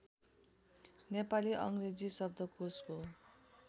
नेपाली अङ्ग्रेजी शब्दकोशको